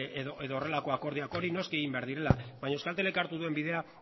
edo horrelako akordioak hori noski egin behar direla baina euskaltelek hartu duen bidea